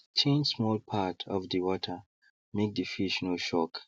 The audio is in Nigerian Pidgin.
change small part of the watermake the fish no shock